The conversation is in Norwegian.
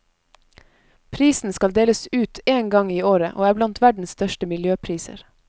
Prisen skal deles ut en gang i året og er blant verdens største miljøpriser.